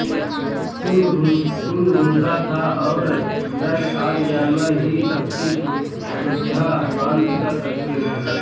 सिंह भूखा था और मृग आदि जानवर ही उसकी क्षुधा शान्त कर सकते थे